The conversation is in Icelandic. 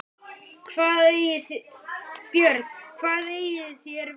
BJÖRN: Hvað eigið þér við?